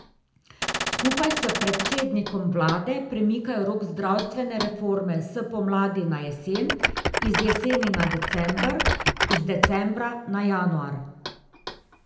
Skupaj s predsednikom vlade premikajo rok zdravstvene reforme s pomladi na jesen, iz jeseni na december, iz decembra na januar.